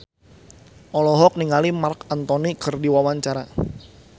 Farri Icksan Wibisana olohok ningali Marc Anthony keur diwawancara